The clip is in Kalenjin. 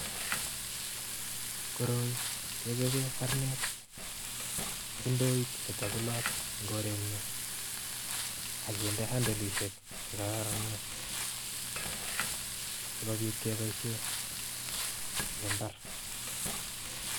Koroi kechoobe kaarnet ak ndooit netaguloot ngorenyu akinde handolisiek chekararanen sikobit keboisie ng mbar